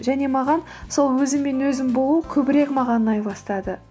және маған сол өзіммен өзім болу көбірек маған ұнай бастады